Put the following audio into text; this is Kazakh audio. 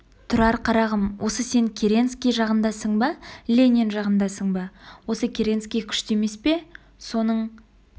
тұрар қарағым осы сен керенский жағындасың ба ленин жағындасың ба осы керенский күшті емес пе соның